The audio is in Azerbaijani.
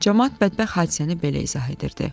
Camaat bədbəxt hadisəni belə izah edirdi.